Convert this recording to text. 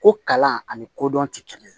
Ko kalan ani kodɔn tɛ kɛ